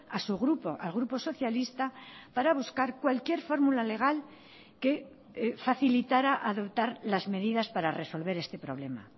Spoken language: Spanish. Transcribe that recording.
a su grupo al grupo socialista para buscar cualquier fórmula legal que facilitara adoptar las medidas para resolver este problema